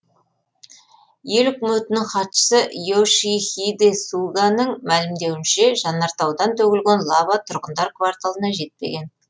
ел үкіметінің хатшысы и ошихиде суганың мәлімдеуінше жанартаудан төгілген лава тұрғындар кварталына жетпеген